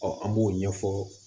an b'o ɲɛfɔ